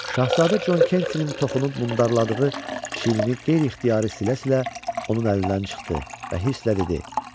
Şahzadə Con Kentinin toxunub mundarladığı çiynini qeyri-ixtiyari silə-silə onun əlindən çıxdı və hirslə dedi: